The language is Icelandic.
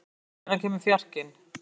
Arnfreyr, hvenær kemur fjarkinn?